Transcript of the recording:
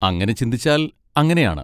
അങ്ങനെ ചിന്തിച്ചാൽ അങ്ങനെയാണ്.